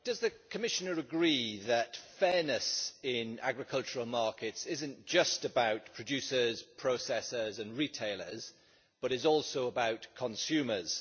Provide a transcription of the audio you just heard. Mr President, does the Commissioner agree that fairness in agricultural markets is not just about producers, processors and retailers, but is also about consumers?